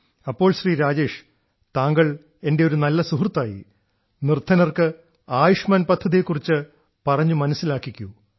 അപ്പോൾ ശ്രീ രാജേഷ് താങ്കൾ എന്റെ ഒരു നല്ല സുഹൃത്തായി നിർദ്ധനർക്ക് ആയുഷ്മാൻ പദ്ധതിയെ കുറിച്ച് പറഞ്ഞു മനസ്സിലാക്കിക്കൂ